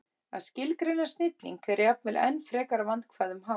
Að skilgreina snilling er jafnvel enn frekar vandkvæðum háð.